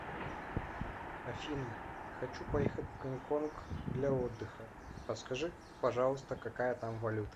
афина хочу поехать в гонконг для отдыха подскажи пожалуйста какая там валюта